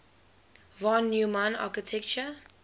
von neumann architecture